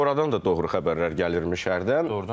Oradan da doğru xəbərlər gəlməmiş hər tərəfdən.